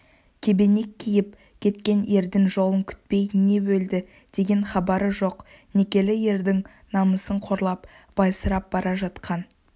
кебенек киіп кеткен ердің жолын күтпей не өлді деген хабары жоқ некелі ердің намысын қорлап байсырап бара жатқан